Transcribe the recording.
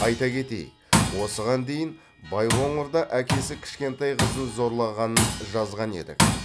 айта кетейік осыған дейін байқоңырда әкесі кішкентай қызын зорлағанын жазған едік